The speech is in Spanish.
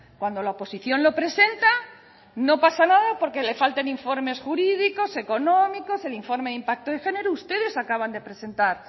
cuando la oposición lo presenta no pasa nada porque le falten informes jurídicos económicos el informe de impacto de género ustedes acaban de presentar